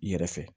I yɛrɛ fɛ